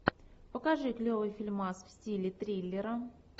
покажи клевый фильмас в стиле триллера